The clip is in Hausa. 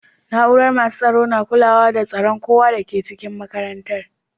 Naúrar masu tsaro na kulawa da tsiran kowa da ke cikin makarantan.